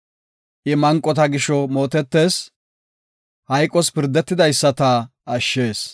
I manqota gisho mootetees; hayqos pirdetidaysata ashshees.